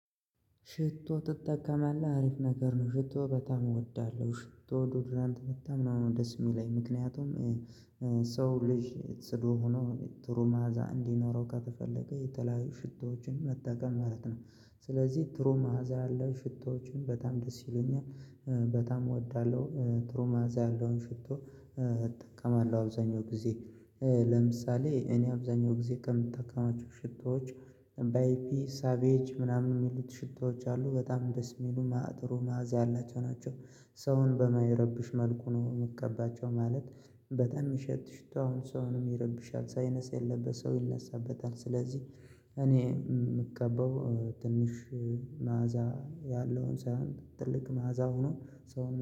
ሽቶ ትጠቀማለህ አሪፍ ነገር ነው። ሽቶ በጣም እወዳለሁ ሽቶ ዱድራንት በጣም ነው ደስ የሚለኝ ምክንያቱም። ሰው ልጅ ጽዱ ሆኖ ጥሩ ማዕዛ እንዲኖረው ከተፈለገ የተለያዩ ሽታዎችን መጠቀም ማለት ነው። ስለዚህ ጥሩ መዓዛ ያለው ሽቶዎችን በጣም ደስ ይሉኛል። በጣም እወዳለሁ። ጥሩ መዓዛ ያለውን ሽቶ። እጠቀማለሁ አብዛኛው ጊዜ ለምሳሌ እኔ አብዛኛው ጊዜ ከምጠቀማቸው ሽቶዎች። በአይፒ ሳቤጅ ምናምን የሚሉት ሽቶዎች አሉ በጣም ደስ የሚሉ እና ጥሩ ማዕዛ ያላቸው ናቸው። ሰውን በማይረብሽ መልኩ ነው የምቀባቸው ማለት። በጣም ሚሸት ሽቶ አሁን ሰውንም ይረብሻል ሳይነስ የለበት ሰው ይነሳበታል ስለዚህ። እኔ ምቀባው ትንሽ መዓዛ ያለውን ሳይሆን ትልቅ መዓዛ ሆኖ ሰው